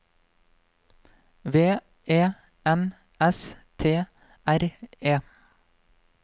V E N S T R E